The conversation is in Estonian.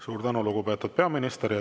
Suur tänu, lugupeetud peaminister!